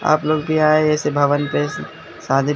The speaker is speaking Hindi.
आप लोग भी आए ऐसी भवन पे शादी--